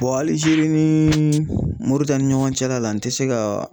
hali sini ni Moritani ɲɔgɔn cɛla la n tɛ se ka